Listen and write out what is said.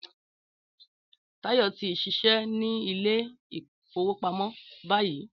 Táyọ̀ tí ń ṣiṣẹ́ ní Ilé-ìfowópamó báyìí